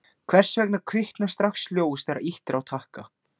Hvers vegna kviknar strax ljós þegar ýtt er á takka?